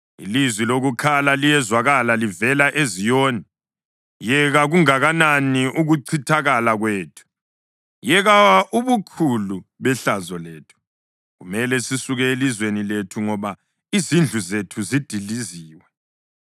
Ilizwi lokukhala liyezwakala livela eZiyoni: “Yeka kunganani ukuchithakala kwethu! Yeka ubukhulu behlazo lethu! Kumele sisuke elizweni lethu ngoba izindlu zethu zidiliziwe.”